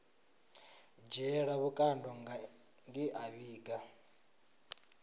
dzhielwa vhukando nge a vhiga